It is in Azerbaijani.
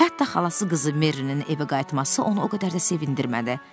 Hətta xalası qızı Merrinin evə qayıtması onu o qədər də sevindirmədi.